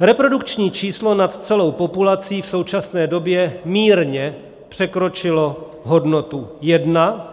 Reprodukční číslo nad celou populací v současné době mírně překročilo hodnotu 1,